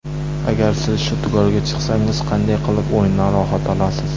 Agar siz shudgorga chiqsangiz, qanday qilib o‘yindan rohat olasiz?